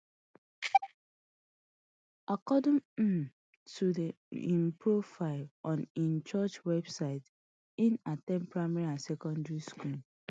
according um to im profile on im church website hin at ten d primary and secondary school